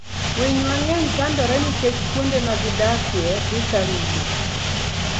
Winy mang'eny chandore nikech kuonde ma gidakie dhi ka rumo.